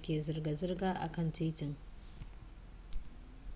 ke zirga zirga a kan titin